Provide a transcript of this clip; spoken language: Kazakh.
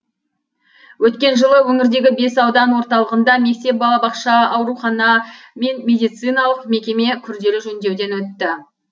өткен жылы өңірдегі бес аудан орталығында мектеп балабақша аурухана мен медициналық мекеме күрделі жөндеуден өтті